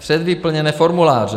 Předvyplněné formuláře.